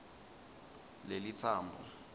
lelitsambo